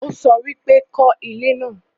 ó sọ wípé 'kọ́ ilé náà'